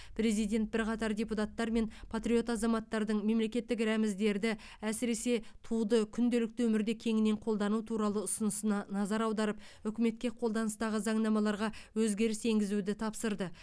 президент бірқатар депутаттар мен патриот азаматтардың мемлекеттік рәміздерді әсіресе туды күнделікті өмірде кеңінен қолдану туралы ұсынысына назар аударып үкіметке қолданыстағы заңнамаларға өзгеріс енгізуді тапсырды